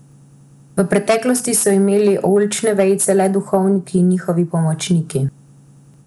V preteklosti so imeli oljčne vejice le duhovniki in njihovi pomočniki.